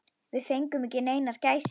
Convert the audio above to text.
Við fengum ekki neinar gæsir.